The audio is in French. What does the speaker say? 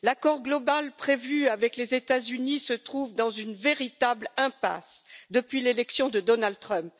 L'accord global prévu avec les États Unis se trouve dans une véritable impasse depuis l'élection de Donald Trump.